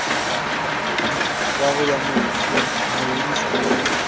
wa ho ya mo nkisa